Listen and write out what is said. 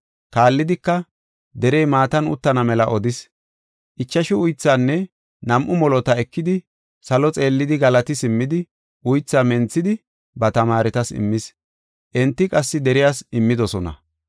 Kaallidika, derey maatan uttana mela odis. Ichashu uythaanne nam7u molota ekidi, salo xeellidi galati simmidi, uythaa menthidi ba tamaaretas immis; enti qassi deriyas immidosona.